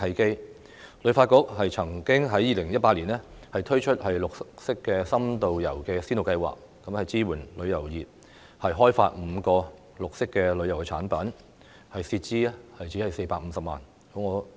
香港旅遊發展局曾經在2018年推出"綠色深度遊"先導計劃，支援旅遊業開發5個綠色的旅遊產品，涉資只有450萬元。